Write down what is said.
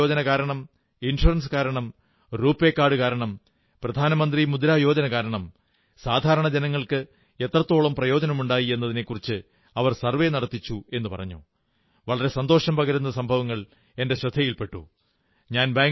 ജൻധൻ യോജന കാരണം ഇൻഷ്വറൻസ് കാരണം റൂപേ കാർഡു കാരണം പ്രധാനമന്ത്രി മുദ്രാ യോജന കാരണം സാധാരണ ജനങ്ങൾക്ക് എത്രത്തോളം പ്രയോജനമുണ്ടായി എന്നതിനെക്കുറിച്ച് അവർ സർവ്വേ നടത്തിച്ചുവെന്നു പറഞ്ഞു വളരെ സന്തോഷം പകരുന്ന സംഭവങ്ങൾ ശ്രദ്ധയിൽ പെട്ടു